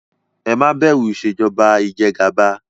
Ẹ má bẹ̀rù Ìṣèjọba ijẹgàba!